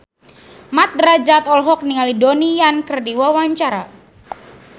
Mat Drajat olohok ningali Donnie Yan keur diwawancara